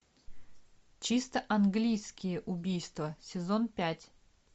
чисто английские убийства сезон пять